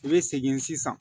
I bɛ segin sisan